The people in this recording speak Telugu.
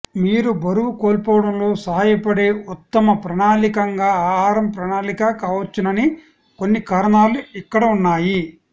మీరు బరువు కోల్పోవడంలో సహాయపడే ఉత్తమ ప్రణాళికగా ఆహారం ప్రణాళిక కావచ్చునని కొన్ని కారణాలు ఇక్కడ ఉన్నాయి